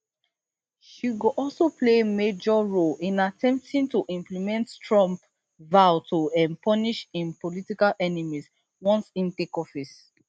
she go also play major role in attempting to implement trump vow to um punish im political enemies once im take office